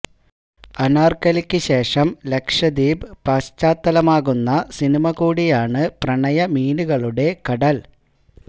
അനാര്ക്കലിക്ക് ശേഷം ലക്ഷദ്വീപ് പശ്ചാത്തലമാകുന്ന സിനിമ കൂടിയാണ് പ്രണയ മീനുകളുടെ കടല്